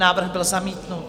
Návrh byl zamítnut.